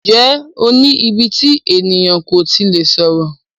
Ǹjẹ́ o ní íbí tí ènìyàn kò tí lè sọ̀rọ̀?